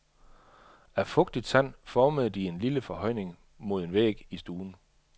Af fugtigt sand formede de en lille forhøjning mod en væg i stuen.